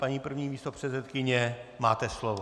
Paní první místopředsedkyně, máte slovo.